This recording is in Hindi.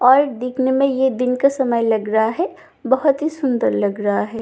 और दिखने में यह दिन का समय लग रहा है बहुत ही सुंदर लग रहा है।